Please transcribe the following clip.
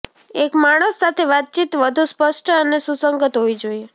એક માણસ સાથે વાતચીત વધુ સ્પષ્ટ અને સુસંગત હોવી જોઈએ